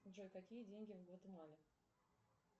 джой какие деньги в гватемале